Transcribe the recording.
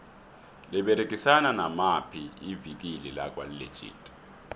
liberegisana namaphi ivikile lakwa legit